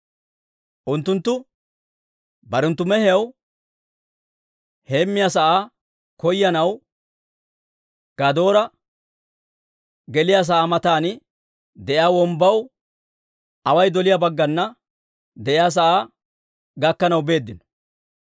Unttunttu barenttu mehiyaw heemmiyaa sa'aa koyanaw Gadoora geliyaa sa'aa matan de'iyaa wombbaw away doliyaa baggana de'iyaa sa'aa gakkanaw beeddino.